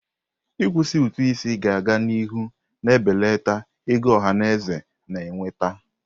Ịkwụsị ụtụ isi ga-aga n'ihu na-ebelata ego ọhaneze na-enweta.